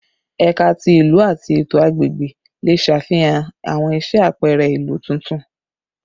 Ẹka ti Ilu ati Eto Agbegbe le ṣafihan awọn iṣẹ apẹrẹ ilu tuntun